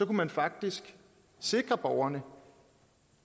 man faktisk sikre borgerne